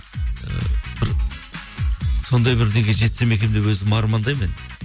ііі бір сондай бір неге жетсем екен деп өзім армандаймын мен